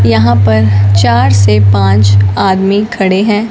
यहां पर चार से पांच आदमी खड़े हैं।